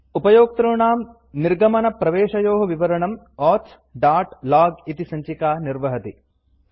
उपयोक्तॄणां निर्गमनप्रवेशयोः विवरणम् auth dot log इति सञ्चिका निर्वहति